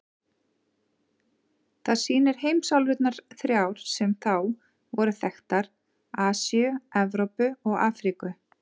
Það sýnir heimsálfurnar þrjár sem þá voru þekktar: Asíu, Evrópu og Afríku.